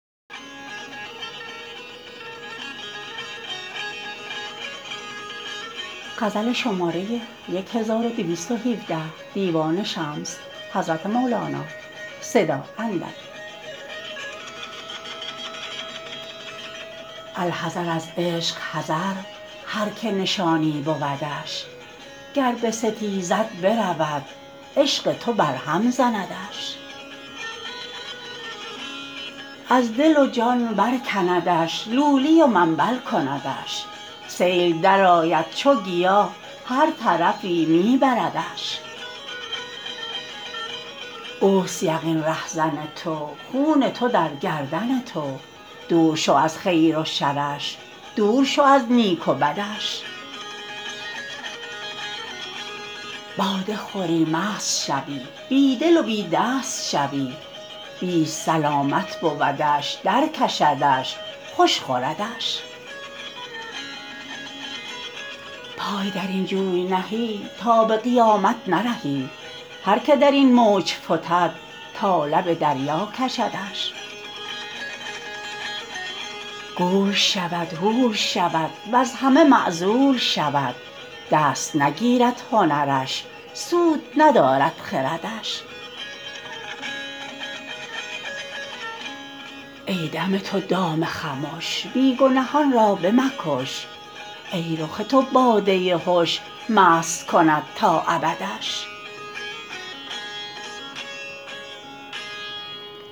الحذر از عشق حذر هر کی نشانی بودش گر بستیزد برود عشق تو برهم زندش از دل و جان برکندش لولی و منبل کندش سیل درآید چو گیا هر طرفی می بردش اوست یقین رهزن تو خون تو در گردن تو دور شو از خیر و شرش دور شو از نیک و بدش باده خوری مست شوی بی دل و بی دست شوی بیست سلامت بودش درکشدش خوش خوردش پای در این جوی نهی تا به قیامت نرهی هر که در این موج فتد تا لب دریا کشدش گول شود هول شود وز همه معزول شود دست نگیرد هنرش سود ندارد خردش ای دم تو دام خمش بی گنهان را بمکش ای رخ تو باده هش مست کند تا ابدش